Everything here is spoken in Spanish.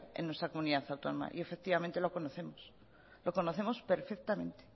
en nuestra comunidad autónoma y efectivamente lo conocemos perfectamente